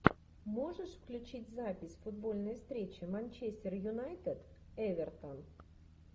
можешь включить запись футбольной встречи манчестер юнайтед эвертон